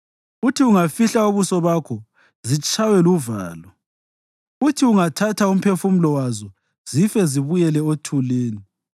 Uthi ungafihla ubuso bakho zitshaywe luvalo; uthi ungathatha umphefumulo wazo, zife zibuyele othulini.